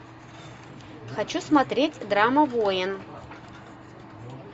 хочу смотреть драма воин